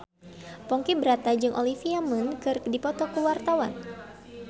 Ponky Brata jeung Olivia Munn keur dipoto ku wartawan